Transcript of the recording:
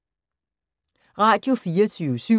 Radio24syv